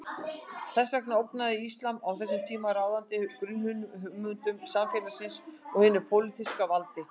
Þess vegna ógnaði íslam á þessum tíma ráðandi grunnhugmyndum samfélagsins og hinu pólitíska valdi.